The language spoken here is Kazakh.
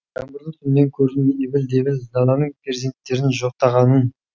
жаңбырлы түннен көрдім ебіл дебіл даланың перзенттерін жоқтағанын